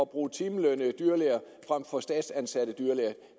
bruge timelønnede dyrlæger frem for statsansatte dyrlæger